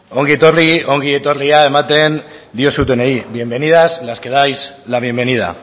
ongi etorri ongi etorria ematen diozutenei bienvenidas las que dais la bienvenida